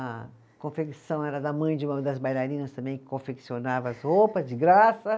A confecção era da mãe de uma das bailarinas também, que confeccionava as roupas de graça.